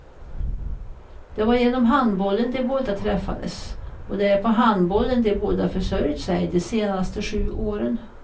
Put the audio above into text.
Det var genom handbollen de båda träffades, och det är på handbollen de båda försörjt sig de senaste sju åren.